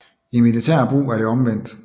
I militær brug er det omvendt